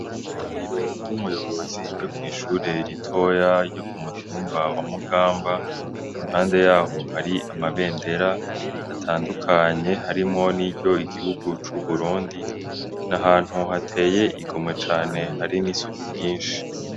Ibiro vy'umuyobozi vyo kwishure ritoya ryo kumutumba wa mugamba, impande yaho hari amabendera atandukanye harimwo niry'igihugu c'uburundi. Nahantu hateye igomwe cane hari n'isuku ryinshi.